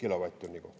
– kilovatt-tunni kohta.